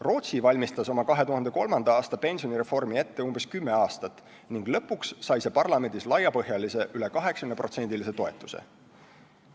Rootsi valmistas oma 2003. aasta pensionireformi ette umbes kümme aastat ning lõpuks sai see parlamendis laiapõhjalise, üle 80%-lise toetuse.